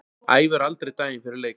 Æfir aldrei daginn fyrir leik.